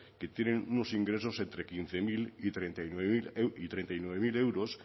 que tienen unos ingresos entre quince mil y treinta y nueve mil euros